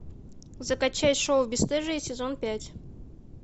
закачай шоу бесстыжие сезон пять